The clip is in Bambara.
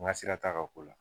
N ka sira t'a ka ko la.